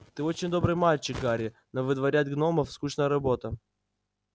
ты очень добрый мальчик гарри но выдворять гномов скучная работа